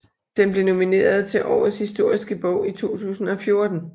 Den blev nomineret til Årets historiske bog i 2014